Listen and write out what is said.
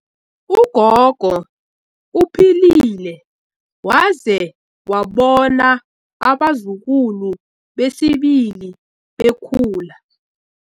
Ugogo uphilile waze wabona abazukulu besibili bekhula.